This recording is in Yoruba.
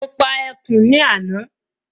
Mo pa ẹkùn ní àná